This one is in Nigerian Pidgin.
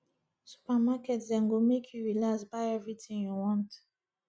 supermarket dem go make you relax buy everytin you want